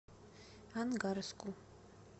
ангарску